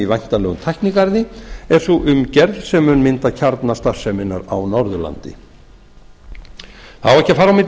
væntanlegum tæknigarði er sú umgerð sem mun mynda kjarna starfseminnar á norðurlandi það á ekki að fara á milli